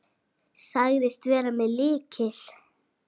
Sagðist vera með lykil.